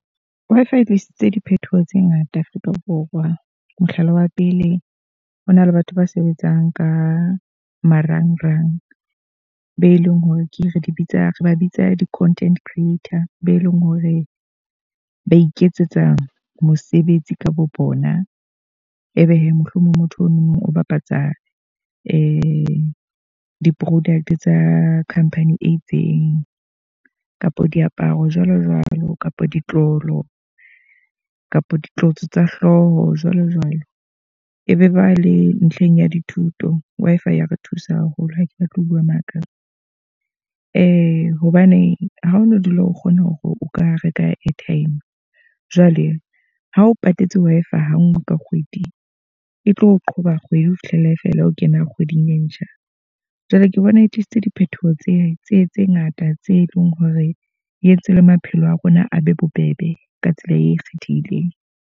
Wi-Fi e tlisitse diphethoho tse ngata Afrika Borwa. Mohlala wa pele, ho na le batho ba sebetsang ka marangrang. Be leng hore ke re di bitsa re ba bitsang di-content creator, be leng hore ba iketsetsa mosebetsi ka bo bona. Ebe he, mohlomong motho o nono o bapatsa di-product tsa khampani e itseng. Kapa diaparo jwalo jwalo kapa di tlolo, kapa ditlotso tsa hlooho jwalo jwalo. E be ba le ntlheng ya dithuto. Wi-Fi ya re thusa haholo, ha ke batle ho bua maka. hobane ha o no dula o kgona hore o ka reka airtime. Jwale ha o patetse Wi-Fi ha nngwe ka kgwedi e tlo qhoba kgwedi ho fihla e fela ho kena kgweding e ntjha. Jwale ke bona e tlisitse diphethoho tse tse tse ngata, tse leng hore di entse le maphelo a rona a be bobebe ka tsela e kgethehileng.